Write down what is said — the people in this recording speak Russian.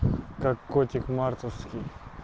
как котик марковский